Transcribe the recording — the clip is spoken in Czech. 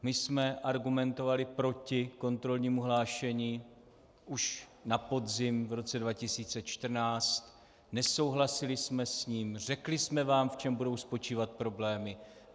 My jsme argumentovali proti kontrolnímu hlášení už na podzim v roce 2014, nesouhlasili jsme s ním, řekli jsme vám, v čem budou spočívat problémy.